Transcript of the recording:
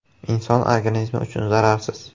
Inson organizmi uchun zararsiz.